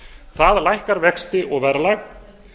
það lækkar vexti og verðlag